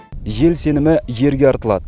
ел сенімі ерге артылады